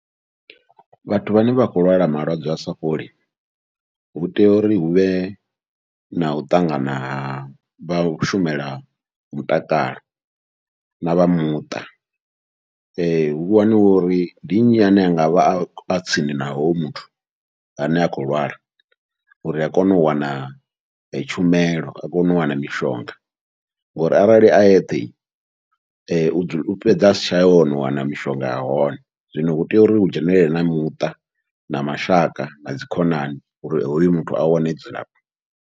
Vhathu vhane vha khou lwala malwadze asa fholi, hu tea uri huvhe nau ṱangana havha shumela mutakalo navha muṱa hu vhoniwe uri ndi nnyi ane a ngavha a tsini na hoyo muthu ane a khou lwala, uri a kone u wana tshumelo a kone u wana mishonga. Ngori arali a yeṱhe u fhedza asa tsha ya hone u wana mishonga ya hone, zwino hu tea uri hu dzhenelele na muṱa na mashaka na dzikhonani uri hoyu muthu a wane dzilafho.